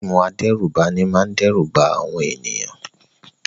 Àwọn fíìmù adẹ́rùbani máa ń dẹ́rù ba àwọn ènìyàn.